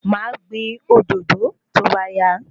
Ma gbin òdòdó tóbá yá